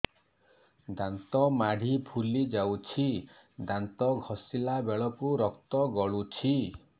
ଦାନ୍ତ ମାଢ଼ୀ ଫୁଲି ଯାଉଛି ଦାନ୍ତ ଘଷିଲା ବେଳକୁ ରକ୍ତ ଗଳୁଛି